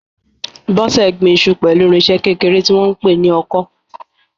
Bose gbin iṣu pẹ̀lú irinṣẹ́ kékeré tí wọ́n ń pè ní ọkọ́.